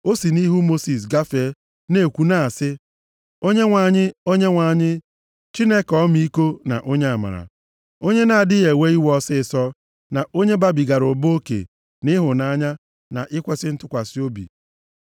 O si nʼihu Mosis gafee na-ekwu na-asị, “ Onyenwe anyị, Onyenwe anyị, Chineke ọmịiko na onye amara, onye na-adịghị ewe iwe ọsịịsọ, na onye babigara ụba oke nʼịhụnanya na ikwesi ntụkwasị obi.